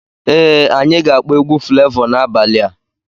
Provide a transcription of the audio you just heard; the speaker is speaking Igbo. Ee anya ga-akpọ egwu Flevọ n'abalị a.